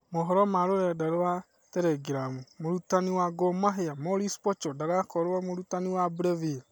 (Mohoro ma rũrenda rwa teregirabu) Mũrutani wa Gor Mahia Maurice Pocho ndagakorwo mũrutani wa Breville.